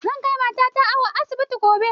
Zan kai matata awo a asibiti gobe